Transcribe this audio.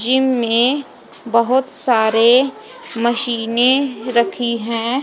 Gym में बोहोत सारे मशीने रखी है।